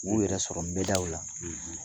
U yɛrɛ sɔrɔ nbɛdaw la